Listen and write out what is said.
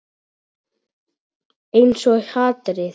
Einsog hatrið.